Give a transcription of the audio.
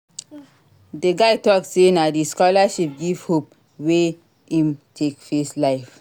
Di guy tok sey na di scholarship give hope wey im take face life.